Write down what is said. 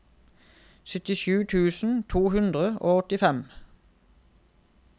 syttisju tusen to hundre og åttifem